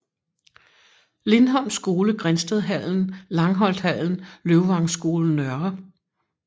Lindholm Skole Grindstedhallen Langholthallen Løvvangskolen Nr